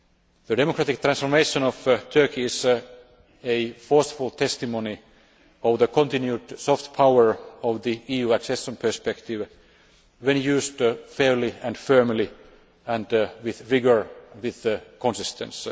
The democratic transformation of Turkey is a forceful testimony of the continued soft power of the EC accession perspective when used fairly and firmly and with vigour and consistency.